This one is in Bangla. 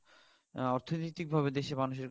অ্যাঁ অর্থনীতিক ভাবে দেশের মানুষের